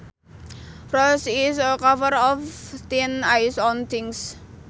Frost is a cover of thin ice on things